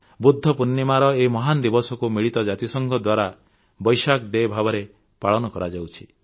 ବୁଦ୍ଧ ପୂର୍ଣ୍ଣିମାର ଏହି ମହାନ ଦିବସକୁ ମିଳିତ ଜାତିସଂଘ ଦ୍ୱାରା ଭେସାକ୍ ଡେ ଭାବରେ ପାଳନ କରାଯାଉଛି